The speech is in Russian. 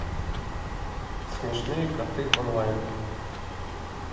смешные коты онлайн